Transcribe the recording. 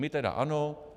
My tedy ano.